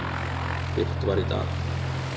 birt var í dag.